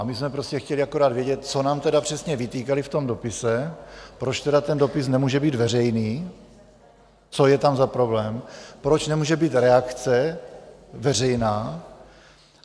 A my jsme prostě chtěli akorát vědět, co nám tedy přesně vytýkali v tom dopise, proč tedy ten dopis nemůže být veřejný, co je tam za problém, proč nemůže být reakce veřejná.